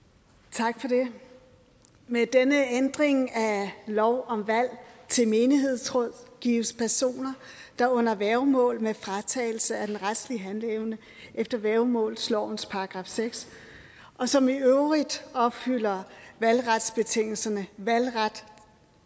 tak for det med denne ændring af lov om valg til menighedsråd gives personer der er under værgemål med fratagelse af den retlige handleevne efter værgemålslovens § seks og som i øvrigt opfylder valgretsbetingelserne valgret